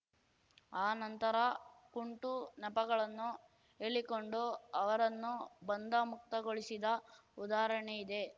ಆ ನಂತರ ಕುಂಟು ನೆಪಗಳನ್ನು ಹೇಳಿಕೊಂಡು ಅವರನ್ನು ಬಂಧ ಮುಕ್ತಗೊಳಿಸಿದ ಉದಾಹರಣೆ ಇದೆ